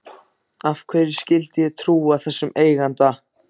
Af hverju skyldi ég trúa þessum eiganda?